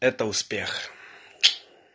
это успех